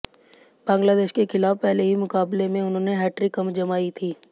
बांग्लादेश के खिलाफ पहले ही मुकाबले में उन्होंने हैट्रिक जमाई थी